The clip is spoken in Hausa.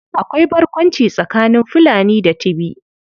Akwai barkwanci tsakanin Fulani da Tibi.